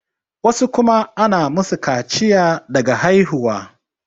wasu kuma ana musu kaciya daga haihuwa